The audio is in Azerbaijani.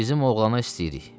Bizim oğlana istəyirik.